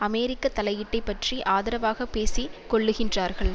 அமெரிக்க தலையீட்டை பற்றி ஆதரவாக பேசி கொள்ளுகின்றார்கள்